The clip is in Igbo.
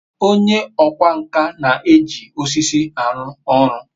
onye okwá nkà na-eji osisi aru oru